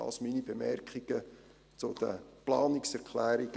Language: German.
Dies waren meine Bemerkungen zu den Planungserklärungen